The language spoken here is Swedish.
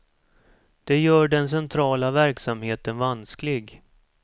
Det gör den centrala verksamheten vansklig.